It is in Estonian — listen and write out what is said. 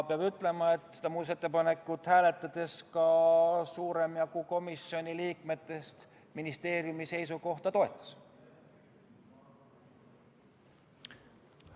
Peab ütlema, et seda muudatusettepanekut hääletades toetas ministeeriumi seisukohta ka suurem jagu komisjoni liikmetest.